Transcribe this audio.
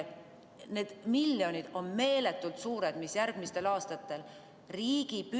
Need miljonid on meeletult suured summad, mida järgmistel aastatel.